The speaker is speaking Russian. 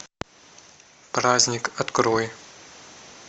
праздник открой